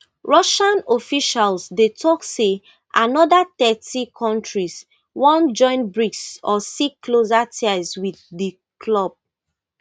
russian officials dey tok say anoda thirty kontris wan join brics or seek closer ties wit di club